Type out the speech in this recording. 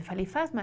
Eu falei, faz mais.